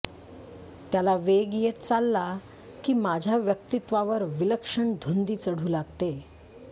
त्याला वेग येत चालला की माझ्या व्यक्तित्वावर विलक्षण धुंदी चढू लागते